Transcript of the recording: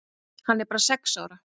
Hann er bara sex ára.